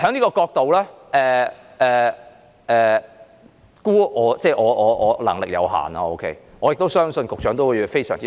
我的能力有限，我相信局長亦感到非常苦惱。